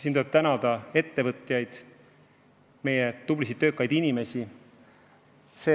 Meil tuleb tänada ettevõtjaid, meie tublisid töökaid inimesi.